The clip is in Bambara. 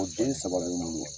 O den saba bɛ n bolo